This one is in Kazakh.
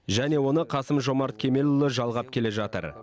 және оны қасым жомарт кемелұлы жалғап келе жатыр